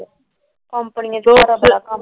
Company ਨੇ ਭੇਜਣਾ ।